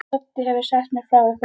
Doddi hefur sagt mér frá ykkur.